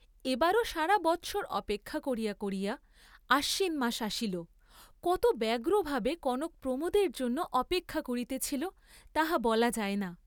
এবারও সারাবৎসর অপেক্ষা করিয়া করিয়া আশ্বিন মাস আসিল, কত ব্যগ্রভাবে কনক প্রমোদের জন্য অপেক্ষা করিতেছিল তাহা বলা যায় না।